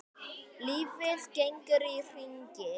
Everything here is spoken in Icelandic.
Lífið gengur í hringi.